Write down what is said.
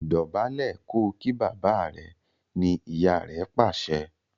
Dobale kò kí bàbá rẹ! ní ìyá rẹ pàṣẹ.